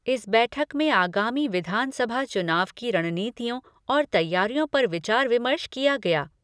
इस बैठक में आगामी विधानसभा चुनाव की रणनीतियों और तैयारियों पर विचार विमर्श किया गया।